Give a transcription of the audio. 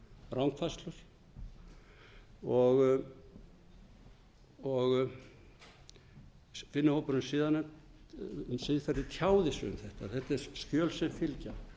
rangfærslur og vinnuhópurinn um siðanefnd tjáði sig um þetta þetta eru skjöl sem fylgja